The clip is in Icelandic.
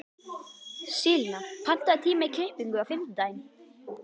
Selina, pantaðu tíma í klippingu á fimmtudaginn.